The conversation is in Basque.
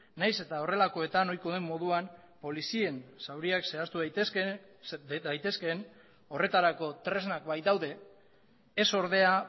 nahiz eta horrelakoetan ohikoa den moduan polizien zauriak zehaztu daitezkeen horretarako tresnak baitaude ez ordea